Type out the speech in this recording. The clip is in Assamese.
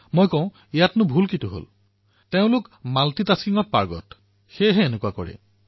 মই কওঁ ইয়াত বেয়া কি তেওঁলোক মাল্টিটাস্কিঙত পাৰ্গত সেয়ে এনেকুৱা কৰে